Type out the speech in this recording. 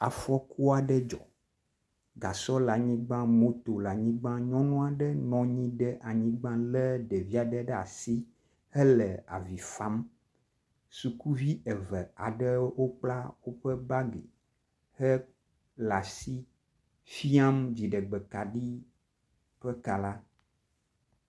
Afɔku aɖe dzɔ, gasɔ le anyigba moto le anyigba. Nyɔnu aɖe nɔ nyi ɖe anyigba lé ɖevi aɖe ɖe asi hele avi fam. Sukuvi eve aɖewo wokpla woƒe bagi hele asi fiam dziɖegbekaɖi ƒe ka la.